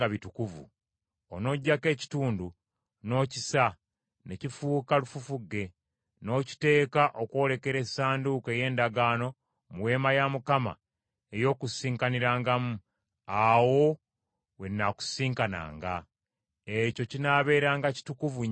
Onoggyako ekitundu n’okisa ne kifuuka lufufugge, n’okiteeka okwolekera Essanduuko ey’Endagaano mu Weema ey’Okukuŋŋaanirangamu, awo we nnaakusisinkananga. Ekyo kinaabeeranga kitukuvu nnyo, gy’oli.